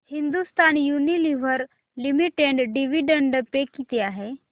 Hindustan Unilever limited dividend pay किती आहे